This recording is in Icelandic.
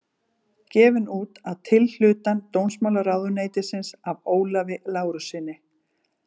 Gefin út að tilhlutan dómsmálaráðuneytisins af Ólafi Lárussyni.